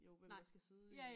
Jo hvem der skal sidde i